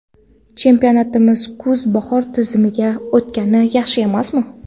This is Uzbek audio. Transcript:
Chempionatimiz kuz-bahor tizimiga o‘tgani yaxshi emasmi?